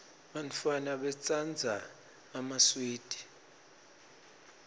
bantfwana batsandza emaswidi